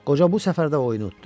Qoca bu səfər də oyunu utdu.